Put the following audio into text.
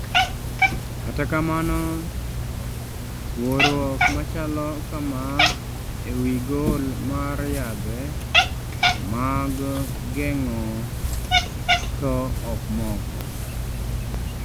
Kata kamano, Thuorwok machalo kama e wii gol mar yadhe mag geng'o to ok moko